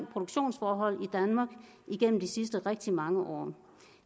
produktionsforholdene i danmark igennem de sidste rigtig mange år